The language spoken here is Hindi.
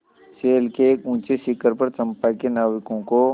शैल के एक ऊँचे शिखर पर चंपा के नाविकों को